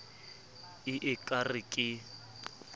e e ka re ke